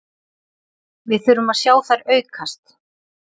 Við þurfum að sjá þær aukast